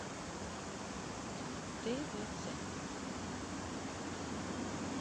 твц